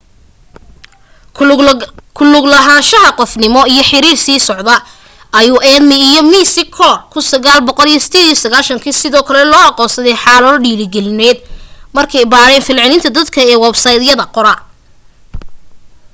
ku luglahaanshaha qofnimo ”iyo xiriir sii socda” ayuu eighmey iyo mccor 1998 sidoo kale loo aqoonsaday xaalado dhiirigelineed markay baadheen falcelinta dadka ee websaydyada